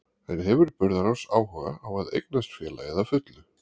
En hefur Burðarás áhuga á að eignast félagið að fullu?